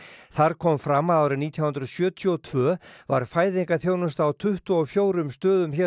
þar kom fram að árið nítján hundruð sjötíu og tvö var fæðingarþjónusta á tuttugu og fjórum stöðum hér á